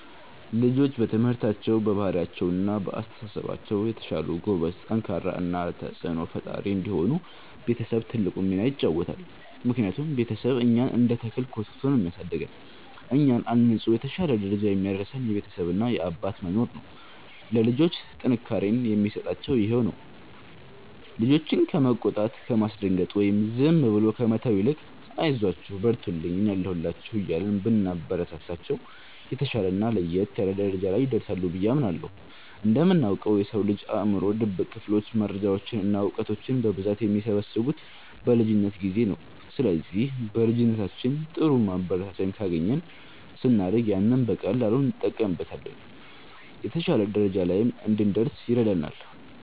ልጆች በትምህርታቸው፣ በባህሪያቸው እና በአስተሳሰባቸው የተሻሉ፣ ጎበዝ፣ ጠንካራ እና ተጽዕኖ ፈጣሪ እንዲሆኑ ቤተሰብ ትልቁን ሚና ይጫወታል። ምክንያቱም ቤተሰብ እኛን እንደ ተክል ኮትኩቶ ነው የሚያሳድገን፤ እኛን አንጾ የተሻለ ደረጃ የሚያደርሰን የቤተሰብ እና የአባት መኖር ነው። ለልጆች ጥንካሬን የሚሰጣቸውም ይሄው ነው። ልጆችን ከመቆጣት፣ ከማስደንገጥ ወይም ዝም ብሎ ከመተው ይልቅ 'አይዟችሁ፣ በርቱልኝ፣ እኔ አለሁላችሁ' እያልን ብናበረታታቸው፣ የተሻለና ለየት ያለ ደረጃ ላይ ይደርሳሉ ብዬ አምናለሁ። እንደምናውቀው፣ የሰው ልጅ አእምሮ ድብቅ ክፍሎች መረጃዎችን እና እውቀቶችን በብዛት የሚሰበስቡት በልጅነት ጊዜ ነው። ስለዚህ በልጅነታችን ጥሩ ማበረታቻ ካገኘን፣ ስናድግ ያንን በቀላሉ እንጠቀምበታለን፤ የተሻለ ደረጃ ላይም እንድንደርስ ይረዳናል።